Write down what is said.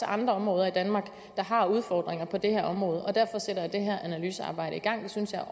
andre områder i danmark der har udfordringer på det her område og derfor sætter jeg det her analysearbejde i gang det synes jeg